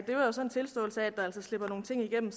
det er jo så en tilståelse af at der altså slipper nogle ting igennem